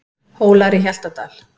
Hólar í Hjaltadal.